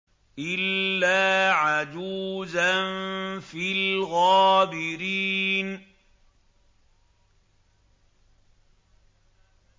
إِلَّا عَجُوزًا فِي الْغَابِرِينَ